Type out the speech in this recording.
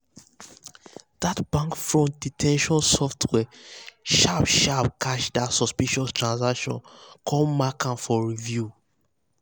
that bank fraud detection software sharp sharp catch that suspicious transaction come mark am for review.